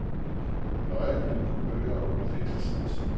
Løjerlige kulører og ufikse snit.